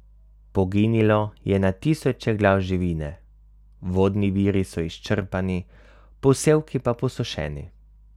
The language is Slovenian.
Poginilo je na tisoče glav živine, vodni viri so izčrpani, posevki pa posušeni.